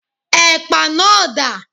Ẹ̀pà náà dà?